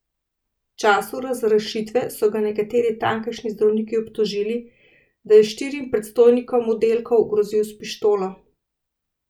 V času razrešitve so ga nekateri tamkajšnji zdravniki obtožili, da je štirim predstojnikom oddelkov grozil s pištolo.